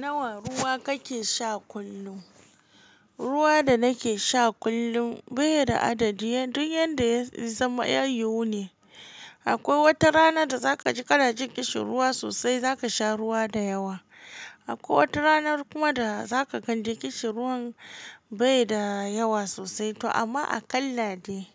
Nawa ruwa kake sha kullum? Ruwa da nake sha kullum bai da adadi. Duk yanda ya zama ya yiwu ne. Akwai wata rana da zaka ji kana jin ƙishin ruwa sosai zaka sha ruwa da yawa. Akwai wata ranar kuma da zaka gan dai ƙishin ruwan bai da yawa sosai to amma a ƙalla dai,